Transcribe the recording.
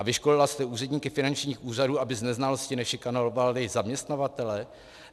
A vyškolila jste úředníky finančních úřadů, aby z neznalosti nešikanovali zaměstnavatele?